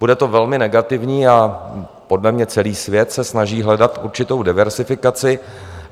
Bude to velmi negativní a podle mě celý svět se snaží hledat určitou diverzifikaci.